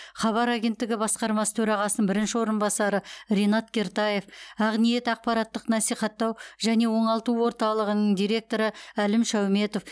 хабар агенттігі басқармасы төрағасының бірінші орынбасары ринат кертаев ақниет ақпараттық насихаттау және оңалту орталығының директоры әлім шауметов